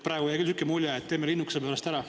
Praegu jäi küll selline mulje, et teeme linnukese pärast ära.